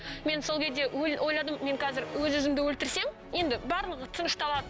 мен сол кезде ойладым мен қазір өз өзімді өлтірсем енді барлығы тынышталады